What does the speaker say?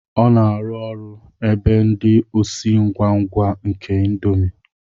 Ọ na-arụ ọrụ ebe ndị osi ngwa ngwa nke índomi